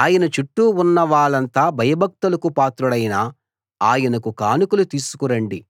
ఆయన చుట్టూ ఉన్న వాళ్ళంతా భయభక్తులకు పాత్రుడైన ఆయనకు కానుకలు తీసుకు రండి